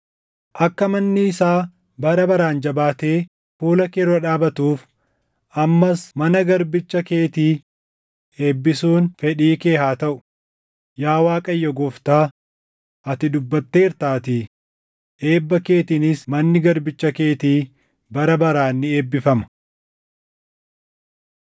Akka manni isaa bara baraan jabaattee fuula kee dura dhaabatuuf ammas mana garbicha keetii eebbisuun fedhii kee haa taʼu; yaa Waaqayyo Gooftaa, ati dubbatteertaatii; eebba keetiinis manni garbicha keetii bara baraan ni eebbifama.”